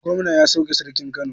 Gomna ya sauke Sarkin Kano.